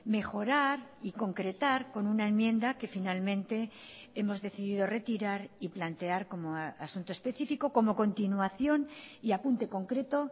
mejorar y concretar con una enmienda que finalmente hemos decidido retirar y plantear como asunto específico como continuación y apunte concreto